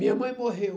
Minha mãe morreu.